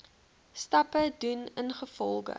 stappe doen ingevolge